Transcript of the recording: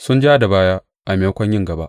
Su ja da baya a maimakon yin gaba.